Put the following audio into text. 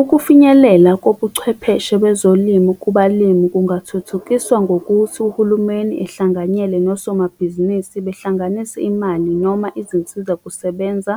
Ukufinyelela kobuchwepheshe kwezolimo kubalimi, kungathuthukiswa ngokuthi uhulumeni ehlanganyele nosomabhizinisi. Behlanganise imali, noma izinsizakusebenza,